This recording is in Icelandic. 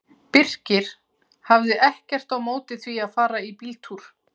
Birkir hafði ekkert á móti því að fara í bíltúr.